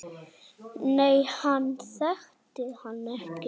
Nei, hann þekkti hann ekki.